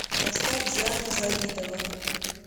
поставь диана завидова